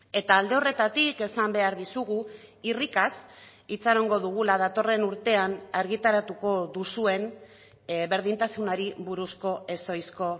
eta alde horretatik esan behar dizugu irrikaz itxarongo dugula datorren urtean argitaratuko duzuen berdintasunari buruzko ez ohizko